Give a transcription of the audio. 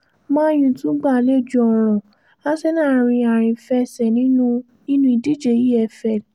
Man U tún gba àlejò ọ̀ràn Arsenal rin àrìnfẹsẹ̀ nínú nínú ìdíje efl